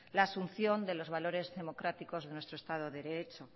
al asunción de los valores democráticos de nuestro estado de derecho